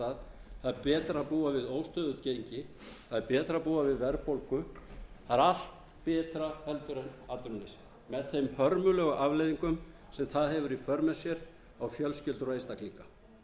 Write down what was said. það er betra að búa við óstöðugt gengi það er betra að búa við verðbólgu það er allt betra heldur en atvinnuleysið með þeim hörmulegu afleiðingum sem það hefur í för með sér á fjölskyldur og einstaklinga